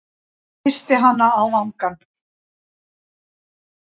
Kyssi hana á vangann.